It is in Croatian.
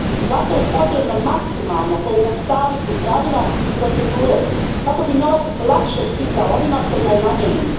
Zato je potrebno maksimalno pojednostavniti pravila i procedure kako bi novac lakše stizao onima kojima je namijenjen.